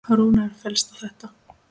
Rúnar fellst á þetta.